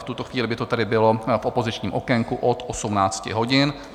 V tuto chvíli by to tedy bylo v opozičním okénku od 18 hodin.